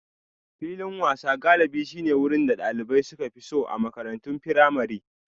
Filin wasan galibi shine wurin da dalibai suka fi so a makarantun firamare.